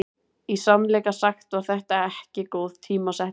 Í sannleika sagt var þetta ekki góð tímasetning.